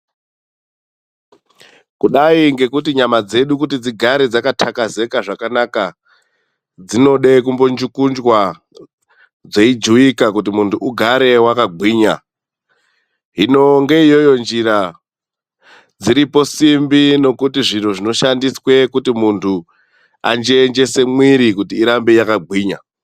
Kudai ngekuti nyama dzedu kuti dzigare dzakatakazeka zvakanaka, dzinoda kumbunjukunjwa dzeijuwika kuti munu ugare wakagwinya. Hino ngeiyoyo njira dziripo simbi dzinoshandiswa kuti munu anjenjese mwiri kuti irambe yakagwinya.